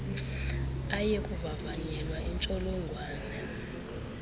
aye kuvavanyelwa intsholongwane